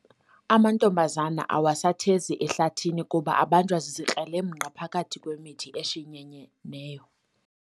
Amantombazana awasathezi ehlathini kuba abanjwa zizikrelemnqa phakathi kwemithi eshinyeneyo.